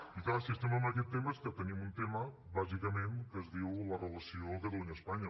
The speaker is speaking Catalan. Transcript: i clar si estem en aquest tema és que tenim un tema bàsicament que es diu la relació catalunya espanya